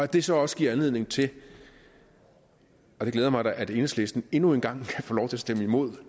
det så også giver anledning til og det glæder mig da at enhedslisten endnu en gang kan få lov til at stemme imod